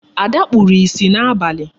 Ada kpuru ìsì n'abali.